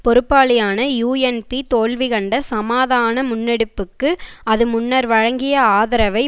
பொறுப்பாளியான யூஎன்பி தோல்வி கண்ட சமாதான முன்னெடுப்புக்கு அது முன்னர் வழங்கிய ஆதரவை